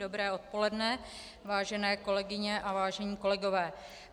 Dobré odpoledne, vážené kolegyně a vážení kolegové.